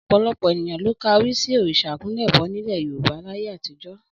Ọ̀pọ̀lọpọ̀ ènìyàn ló ka orí sí òrìṣà àkúnlẹ̀bọ nílẹ̀ Yorùbá láyé àtijó